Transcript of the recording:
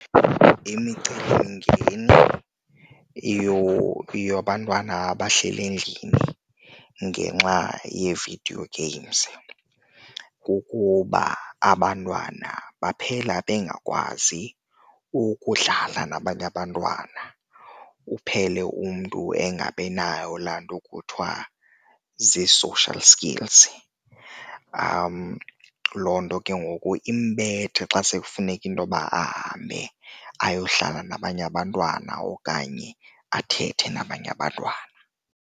Imicelimingeni yabantwana abahleli endlini ngenxa yee-videao games kukuba, abantwana baphela bengakwazi ukudlala nabanye abantwana, uphele umntu engabinayo laa nto kuthiwa zii-social skills. Loo nto ke ngoku imbethe xa sekufuneka intoba ahambe ayohlala nabanye abantwana okanye athethe nabanye abantwana.